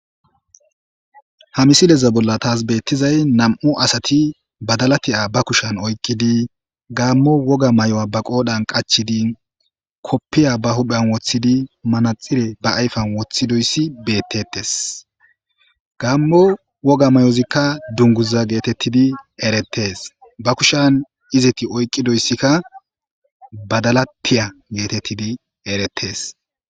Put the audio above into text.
ha misileza bolla taas beettizay nam7u asati badalatiya ba kushan oykkidi gaammo woga may7o7a ba qoodhan qachidi koppiya ba huphen woththidi manaxire ba ayfan woththidoyssi beettetes gamo woga mayozikka dunguza geetettidi erettes ba kushan izeti oyqqidoyssikka badalatiya geetettidi erettes